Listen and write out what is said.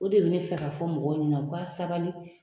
O de bɛ ne fɛ ka fɔ mɔgɔw ɲɛnɛ u ka sabali.